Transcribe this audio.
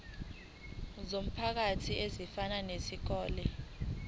zomphakathi ezifana nezikole